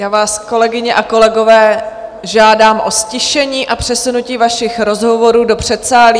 Já vás, kolegyně a kolegové, žádám o ztišení a přesunutí vašich rozhovorů do předsálí.